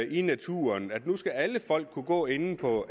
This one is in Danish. i naturen at nu skal alle folk kunne gå inde på